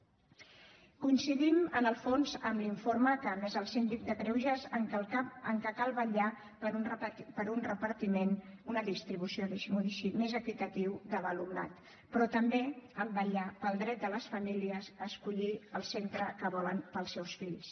coincidim en el fons amb l’informe que ha emès el síndic de greuges en el fet que cal vetllar per un repartiment una distribució deixi m’ho dir així més equitativa de l’alumnat però també en el fet vetllar pel dret de les famílies a escollir el centre que volen per als seus fills